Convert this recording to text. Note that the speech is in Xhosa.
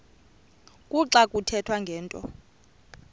kuxa kuthethwa ngento